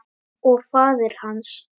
Og faðir hans?